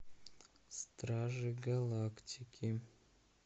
стражи галактики